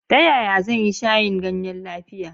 Ta yaya zan yi shayin ganye lafiya?